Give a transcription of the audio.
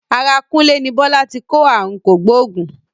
Ara Kúnlé ní Bọ́lá ti kó ààrùn kògbóògùn.